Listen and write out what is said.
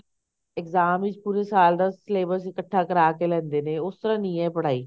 exam ਵਿੱਚ ਪੂਰੇ ਸਾਲ ਦਾ syllabus ਇੱਕਠਾ ਕਰਾਕੇ ਲੈਂਦੇ ਨੇ ਉਸ ਤਰ੍ਹਾਂ ਨੀ ਐ ਪੜ੍ਹਾਈ